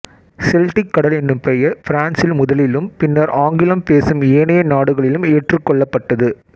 Celtic கடல் என்னும் பெயர் பிரான்சில் முதலிலும் பின்னர் ஆங்கிலம் பேசும் ஏனைய நாடுகளிலும் ஏற்றுக்கொள்ளப்பட்டது